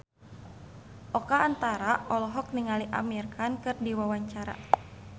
Oka Antara olohok ningali Amir Khan keur diwawancara